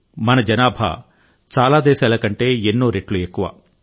మన జనాభా చాలా దేశాల కంటే చాలా రెట్లు ఎక్కువ